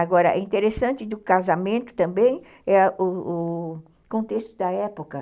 Agora, é interessante do casamento também, o o contexto da época.